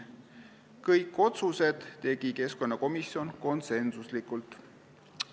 Kõik otsused tegi keskkonnakomisjon konsensuslikult.